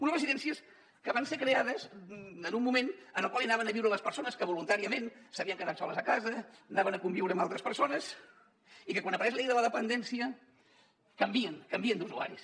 unes residències que van ser creades en un moment en el qual anaven a viure les persones que voluntàriament s’havien quedat soles a casa anaven a conviure amb altres persones i que quan apareix la llei de la dependència canvien canvien d’usuaris